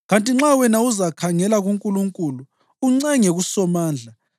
Kanti nxa wena uzakhangela kuNkulunkulu uncenge kuSomandla,